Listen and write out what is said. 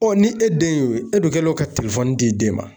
ni e den y'o ye, e dun kɛlen don ka di den ma.